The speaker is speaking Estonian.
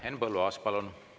Henn Põlluaas, palun!